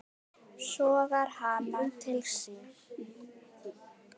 Sogar hana til sín.